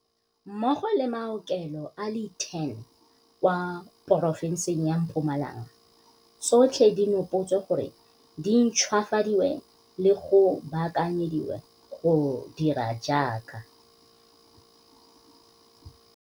mmogo le maokelo a le 10 kwa porofenseng ya Mpumalanga tsotlhe di nopotswe gore di ntšhwafadiwe le go baakanyediwa go dira jaaka.